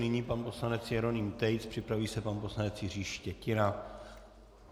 Nyní pan poslanec Jeroným Tejc, připraví se pan poslanec Jiří Štětina.